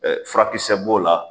Fura kisɛ b'o la